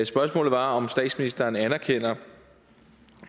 spørgsmålet var om statsministeren anerkender